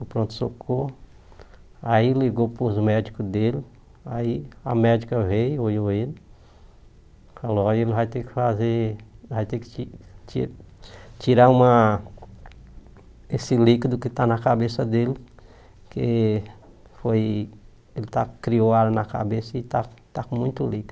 o pronto-socorro, aí ligou para os médicos dele, aí a médica veio, olhou ele, falou que ele vai ter que fazer vai ter que ti tirar uma esse líquido que está na cabeça dele, porque foi ele está criou água na cabeça e está está com muito líquido.